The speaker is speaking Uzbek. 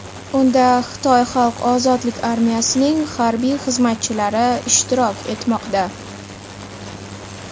Unda Xitoy Xalq ozodlik armiyasining harbiy xizmatchilari ishtirok etmoqda.